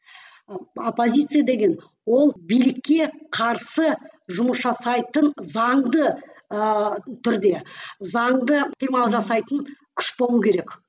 оппозиция деген ол билікке қарсы жұмыс жасайтын заңды ыыы түрде заңды жасайтын күш болу керек